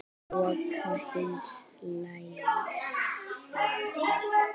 Loka hins lævísa.